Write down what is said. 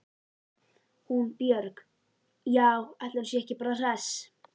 Hún Björg- já, ætli hún sé ekki bara hress.